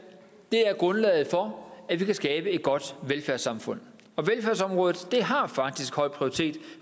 er grundlaget for at vi kan skabe et godt velfærdssamfund og velfærdsområdet har faktisk høj prioritet